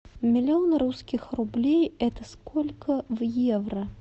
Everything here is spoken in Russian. миллион русских рублей это сколько в евро